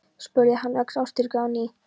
spurði hann ögn óstyrkur á ný.